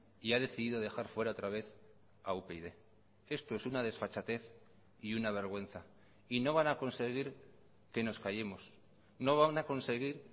y ha decidido dejar fuera otra vez a upyd esto es una desfachatez y una vergüenza y no van a conseguir que nos callemos no van a conseguir